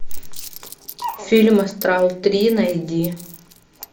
фильм астрал три найди